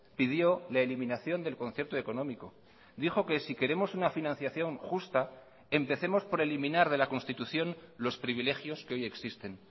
pidió la eliminación del concierto económico dijo que si queremos una financiación justa empecemos por eliminar de la constitución los privilegios que hoy existen